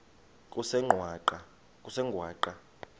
kusengwaqa